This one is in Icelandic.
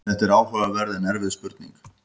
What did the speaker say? Þetta er áhugaverð en erfið spurning.